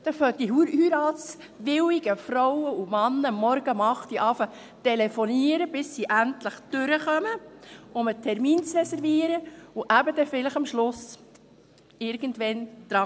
Dann beginnen die heiratswilligen Frauen und Männer morgens um 8 Uhr zu telefonieren, bis sie endlich durchkommen, um einen Termin zu reservieren, und kommen am Ende eben vielleicht irgendwann dran.